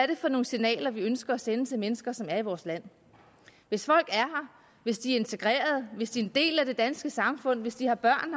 det for nogle signaler vi ønsker at sende til mennesker som er i vores land hvis folk er her hvis de er integreret hvis de en del af det danske samfund hvis de har børn